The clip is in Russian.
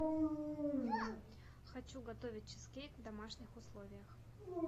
хочу готовить чизкейк в домашних условиях